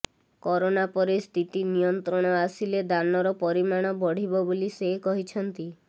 corona ପରେ ସ୍ଥିତି ନିୟନ୍ତ୍ରଣ ଆସିଲେ ଦାନର ପରିମାଣ ବଢ଼ିବ ବୋଲି ସେ କହିଛନ୍ତି